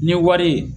Ni wari ye